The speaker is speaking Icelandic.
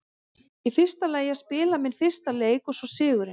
Í fyrsta lagi að spila minn fyrsta leik og svo sigurinn.